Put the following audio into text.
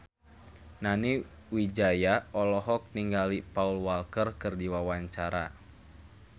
Nani Wijaya olohok ningali Paul Walker keur diwawancara